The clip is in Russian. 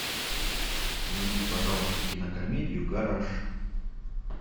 найди пожалуйста кинокомедию гараж